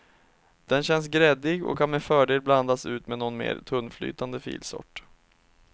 Den känns gräddig och kan med fördel blandas ut med någon mer tunnflytande filsort.